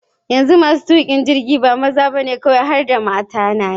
Yanzu masu tuƙa jirgi ba maza ba ne kawai har mata na yi.